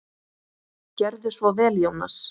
Gerðu svo vel, Jónas!